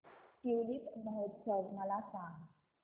tulip महोत्सव मला सांग